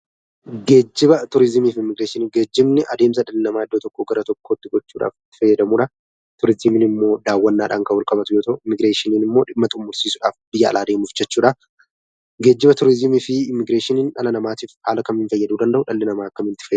Geejjibni adeemsa dhala namaa iddoo tokko gara tokkootti gochuudhaaf itti fayyadamudha. Turizimiin immoo daawwannaadhaan kan wal qabatu yoo ta'u, Immigireeshiniin ammoo dhimma xumursiisuudhaaf, biyya alaa deemuuf jechuudha. Geejjiba, turizimii fi Immigireeshinii dhala namaatiif haala kamiin fayyaduu danda'u? Dhalli namaas akkamitti fayyadamu?